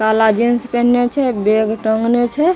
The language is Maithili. काला जींस पहनले छै बैग टांगले छै ।